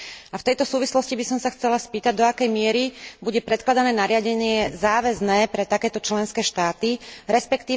A v tejto súvislosti by som sa chcela spýtať, do akej miery bude predkladané nariadenie záväzné pre takéto členské štáty, resp.